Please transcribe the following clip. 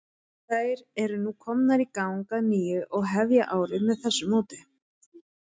Þær eru nú komnar í gang að nýju og hefja árið með þessu móti.